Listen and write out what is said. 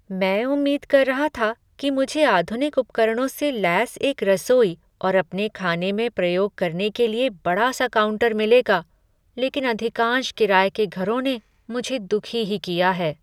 मैं उम्मीद कर रहा था कि मुझे आधुनिक उपकरणों से लैस एक रसोई और अपने खाने में प्रयोग करने के लिए बड़ा सा काउंटर मिलेगा, लेकिन अधिकांश किराए के घरों ने मुझे दुखी ही किया है।